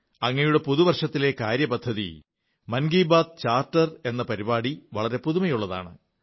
അങ്ങയുടെ പുതു വർഷത്തിലെ കാര്യപരിപാടി മൻ കീ ബാത്ത് ചാർട്ടർ എന്ന പരിപാടി വളരെ പുതുമയുള്ളതാണ്